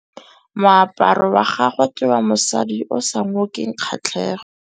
Moaparô wa gagwe ke wa mosadi yo o sa ngôkeng kgatlhegô.